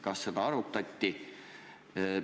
Kas seda arutati?